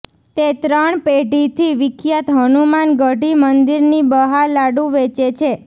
તે ત્રણ પેઢીથી વિખ્યાત હનુમાન ગઢી મંદિરની બહાર લાડુ વેચે છે